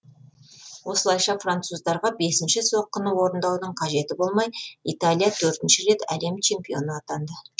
осылайша француздарға бесінші соққыны орындаудың қажеті болмай италия төртінші рет әлем чемпионы атанды